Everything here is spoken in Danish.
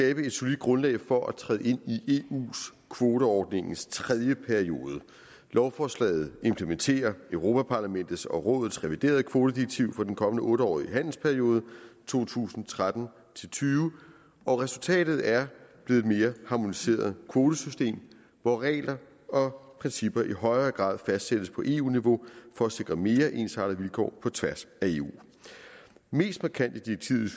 et solidt grundlag for at træde ind i eu kvoteordningens tredje periode lovforslaget implementerer europa parlamentets og europa rådets reviderede kvotedirektiv for den kommende otte årige handelsperiode to tusind og tretten til tyve og resultatet er blevet et mere harmoniseret kvotesystem hvor regler og principper i højere grad fastsættes på eu niveau for at sikre mere ensartede vilkår på tværs af eu mest markant i direktivet